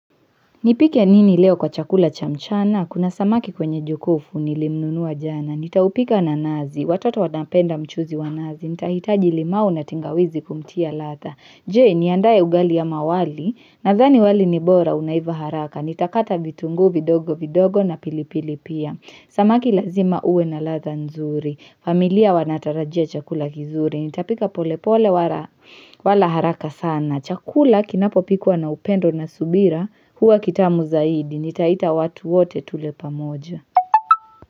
Nipike nini leo kwa chakula cha mchana? Kuna samaki kwenye jokofu nilinunua jana. Nitaupika na nazi. Watoto wanapenda mchuuzi wa nazi. Nitahitaji limau na tangawizi kumtia ladha. Je niandae ugali ama wali? Nadhani wali ni bora unaiva haraka. Nitakata vitunguu vidogo vidogo na pilipili pia. Samaki lazima uwe na ladha nzuri. Familia wanatarajia chakula kizuri. Nitapika polepole wala haraka sana. Na chakula kinapopikwa na upendo na subira huwa kitamu zaidi. Nitaita watu wote tule pamoja.